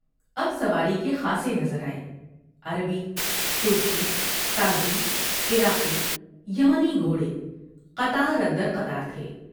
اب سواری کے خاصے نظر آئے ، عربی ، ترکی ، تازی ، عراقی ، یمنی گھوڑے قطار اندر قطار تھے ۔